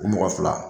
U mɔgɔ fila